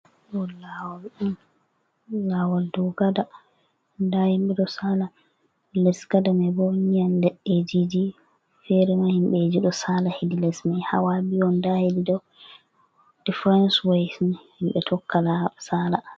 Dow lawol dow gada, nda himbe ɗo sala les gada mai bo don leɗɗe jiji fere ma himbeji ɗo sala hedi les mai, hawa biyu on nda hediido deference way himbe tokka sala.